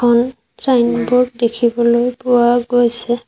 এখন চাইনব'ৰ্ড দেখিবলৈ পোৱা গৈছে।